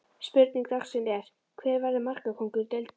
Spurning dagsins er: Hver verður markakóngur deildarinnar?